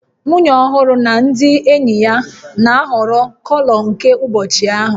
Nwunye ọhụrụ na ndị enyi ya na-ahọrọ kọlọ nke ụbọchị ahụ